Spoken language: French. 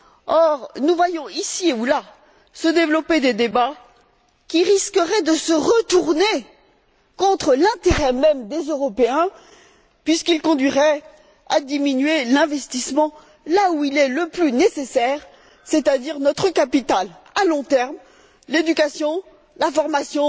Or, nous voyons ici ou là se développer des débats qui risqueraient de se retourner contre l'intérêt même des Européens puisqu'ils conduiraient à diminuer l'investissement là où il est le plus nécessaire, c'est à dire dans notre capital à long terme l'éducation, la formation,